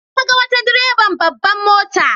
Na ga wata direban babbar mota.